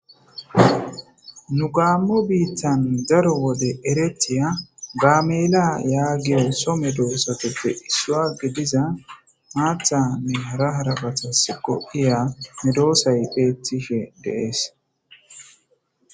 Nu gaammo biittan daro wode eretiya gaamela yaagiyo so medoosateppe issuwagge diza maathanne hara harafatas qoppiya medoosay peetishe dees